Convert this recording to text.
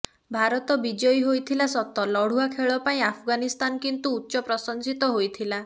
ଭାରତ ବିଜୟୀ ହୋଇଥିଲା ସତ ଲଢ଼ୁଆ ଖେଳ ପାଇଁ ଆଫଗାନିସ୍ତାନ କିନ୍ତୁ ଉଚ୍ଚ ପ୍ରଶଂସିତ ହୋଇଥିଲା